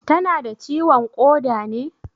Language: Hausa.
Tana da ciwon ƙoda ne?